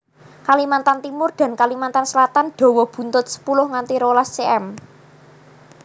Kalimantan Timur dan Kalimantan Selatan dawa buntut sepuluh nganti rolas cm